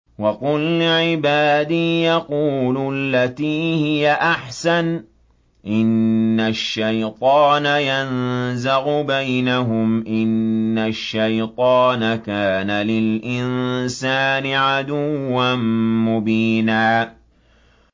وَقُل لِّعِبَادِي يَقُولُوا الَّتِي هِيَ أَحْسَنُ ۚ إِنَّ الشَّيْطَانَ يَنزَغُ بَيْنَهُمْ ۚ إِنَّ الشَّيْطَانَ كَانَ لِلْإِنسَانِ عَدُوًّا مُّبِينًا